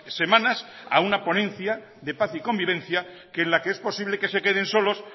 semanas a una ponencia de paz y convivencia que en la que es posible que se queden solos